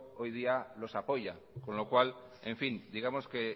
hoy día los apoya con lo cual en fin digamos que